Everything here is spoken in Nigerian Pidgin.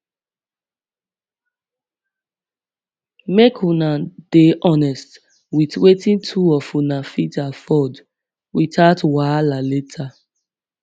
make una dey honsest with wetin two of una fit afford without wahala later